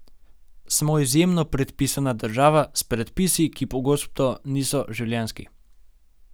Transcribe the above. Smo izjemno predpisana država, s predpisi, ki pogosto niso življenjski.